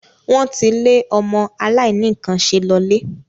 Wọ́n ti le ọmọ aláìníkànṣe lọlé.